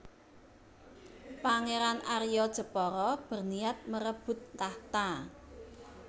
Pangeran Arya Jepara berniat merebut takhta